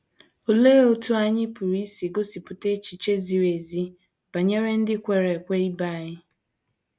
Olee otú anyị pụrụ isi gosipụta echiche ziri ezi banyere ndị kwere ekwe ibe anyị?